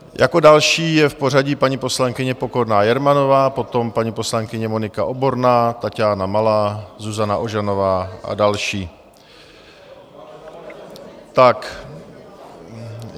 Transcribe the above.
Jako další je v pořadí paní poslankyně Pokorná Jermanová, potom paní poslankyně Monika Oborná, Taťána Malá, Zuzana Ožanová a další.